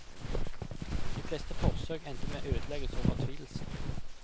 De fleste forsøk endte med ødeleggelse og fortvilelse.